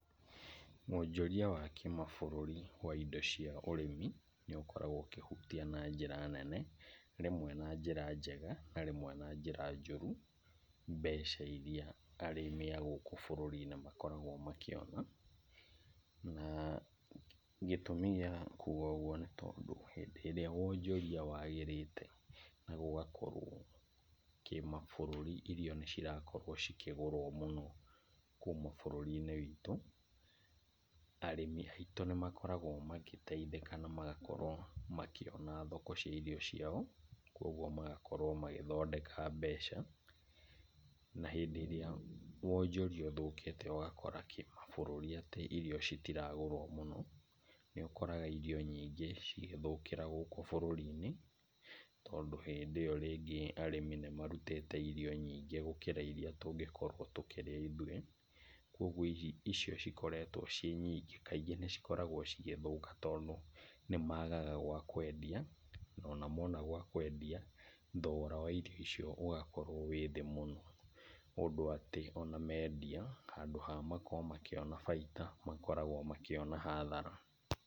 Wonjoria wa kĩmabũrũri wa indo cia ũrĩmi, nĩ ũkoragwo ũkĩhutia na njĩra nene, rĩmwe na njĩra njega, na rĩmwe na njĩra njũru, mbeca iria arĩmi a gũkũ bũrũri-inĩ makoragwo makĩona. Na gĩtũmi gĩa kuga ũguo nĩ tondũ, hĩndĩ ĩrĩa wonjoria wagĩrĩte, na gũgakorwo kĩmabũrũri irio nĩ cirakorwo cikĩgũrwo mũno, kuuma bũrũri-inĩ witũ, arĩmi aitũ nĩ makoragwo magĩteithĩka na magakorwo makĩona thoko cia irio ciao, koguo magakorwo magĩthondeka mbeca. Na hĩndĩ ĩrĩa wonjoria ũthũkĩte, ũgakora kĩmabũrũri atĩ irio citiragũrwo mũno. Nĩ ũkoraga irio nyingĩ cigĩthũkĩra gũkũ bũrũri-inĩ, tondũ hĩndĩ ĩyo rĩngĩ arĩmi nĩmarutĩte irio nyingĩ gũkĩra iria tũngĩkorwo tũkĩrĩa ithuĩ. Koguo icio ikoretwo ciĩnyingĩ kaingĩ nĩ ikoretwo cigĩthũka, tondũ nĩmagaga gwa kwendia, ona mona gwa kwendia, thogora wa irio icio ũgakorwo wĩthĩ mũno, ũndũ atĩ, ona mendia, handũ wa makorwo makĩona bainda, makoragwo makĩona hathara.